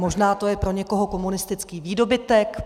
Možná to je pro někoho komunistický výdobytek.